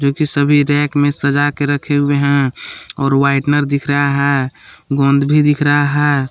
देखिए सभी रैक में सजा के रखे हुवे हैं और व्हाइटनर दिख रहा गोंद भी दिख रहा है।